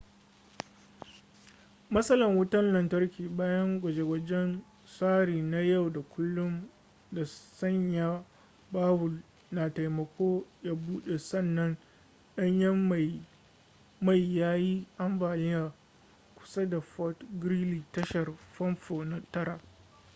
matsalan wutan lantarki bayan gwaje-gwajen tsari na yau da kullum ta sanya bawul na taimako ya bude sannan danyen mai ya yi ambaliya kusa da fort greely tashar fanfo na 9